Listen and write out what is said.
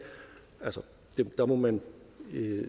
må man